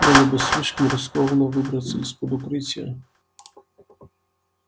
было бы слишком рискованно выбраться из-под укрытия